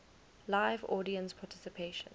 live audience participation